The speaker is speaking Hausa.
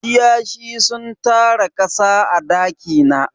Kiyashi sun tara kasa a daki na.